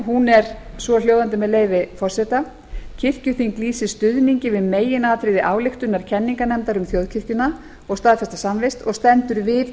hún er svohljóðandi með leyfi forseta kirkjuþing lýsir stuðningi við meginatriði ályktunar kenningarnefndar um þjóðkirkjuna og staðfesta samvist og stendur við